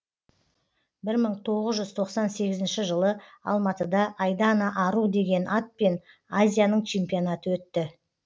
бір мың тоғыз жүз тоқсан сегізінші жылы алматыда айдана ару деген атпен азияның чемпионаты өтті